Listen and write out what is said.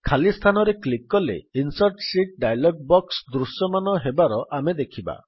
ଖାଲି ସ୍ଥାନରେ କ୍ଲିକ୍ କଲେ ଇନସର୍ଟ ଶୀତ୍ ଡାୟଲଗ୍ ବକ୍ସ ଦୃଶ୍ୟମାନ ହେବାର ଆମେ ଦେଖିବା